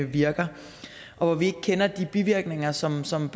virker og hvor vi ikke kender de bivirkninger som som